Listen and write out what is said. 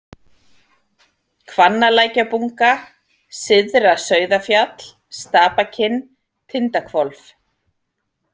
Hvannalækjarbunga, Syðra-Sauðafjall, Stapakinn, Tindahvolf